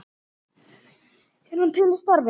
Er hann til í starfið?